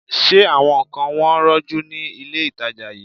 Ṣé àwọn nǹkan wọn rọjú ni ilé-ìtàjà yìí?